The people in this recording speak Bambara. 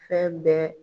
Fɛn bɛɛ